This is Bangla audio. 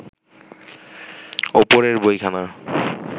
ওপরের বইখানা